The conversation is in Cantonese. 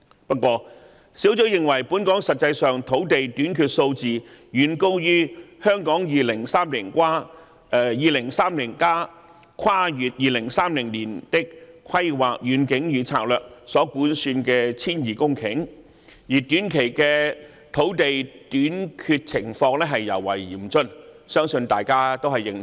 不過，專責小組認為本港實際土地短缺數字遠高於《香港 2030+： 跨越2030年的規劃遠景與策略》所估算的 1,200 公頃，而短期的土地短缺情況尤為嚴峻，相信大家均認同。